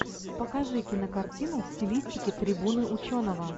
покажи кинокартину в стилистике трибуны ученого